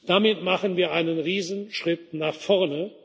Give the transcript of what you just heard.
ist. Damit machen wir einen Riesenschritt nach